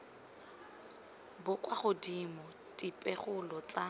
bo kwa godimo dipegelo tsa